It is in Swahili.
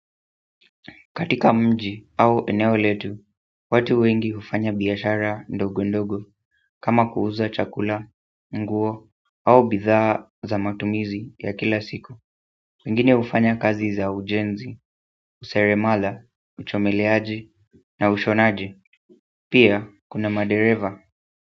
Katika mji au eneo letu, watu wengi hufanya biashara ndogo ndogo kama kuuza chakula, nguo au bidhaa za matumizi ya kila siku. Wengine hufanya kazi za ujenzi, useremala, uchomeleaji na ushonaji. Pia kuna madereva.